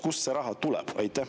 Kust see raha tuleb?